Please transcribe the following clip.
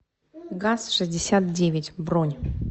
газ шестьдесят девять бронь